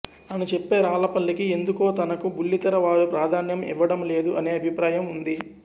అని చెప్పే రాళ్ళపల్లికి ఎందుకో తనకు బుల్లితెర వారు ప్రాధాన్యం ఇవ్వడం లేదు అనే అభిప్రాయం ఉంది